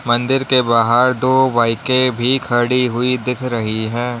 मंदिर के बाहर दो बाईकें भी खड़ी हुई दिख रही हैं।